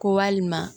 Ko walima